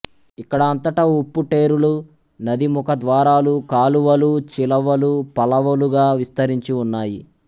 ఇక్కడ అంతటా ఉప్పుటేరులు నదీముఖద్వారాలు కాలువలు చిలవలు పలవలుగా విస్తరించి ఉన్నాయి